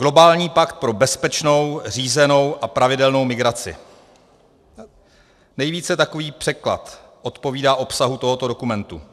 Globální pakt pro bezpečnou, řízenou a pravidelnou migraci, nejvíce takový překlad odpovídá obsahu tohoto dokumentu.